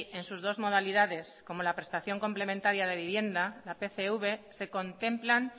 en sus dos modalidades como la prestación complementaria de vivienda la pcv se contemplan